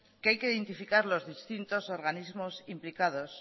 que hay que identificar los distintos organismos implicados